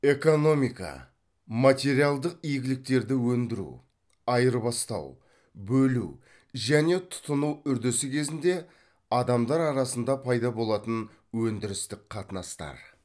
экономика материалдық игіліктерді өндіру айырбастау бөлу және тұтыну үрдісі кезінде адамдар арасында пайда болатын өндірістік қатынастар